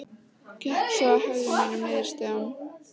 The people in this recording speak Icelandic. Gekk svo í hægðum mínum niður stigann.